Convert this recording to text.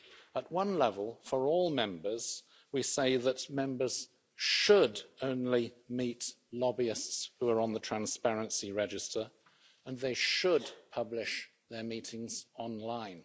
At one level, for all Members, we say that Members should' only meet lobbyists who are on the transparency register and they should' publish their meetings online.